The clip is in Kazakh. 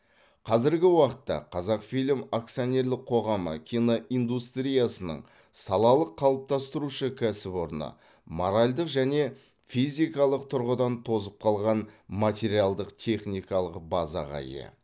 қазіргі уақытта қазақфильм акционерлік қоғамы киноиндустриясының салалық қалыптастырушы кәсіпорны моральдық және физикалық тұрғыдан тозып қалған материалдық техникалық базаға ие